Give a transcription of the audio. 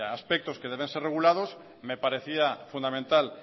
aspectos que deben ser regulados me parecía fundamental